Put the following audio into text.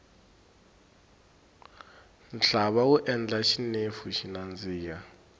nhlava wu endla xinefu xi nandiha